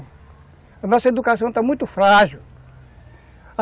A nossa educação está muito frágil.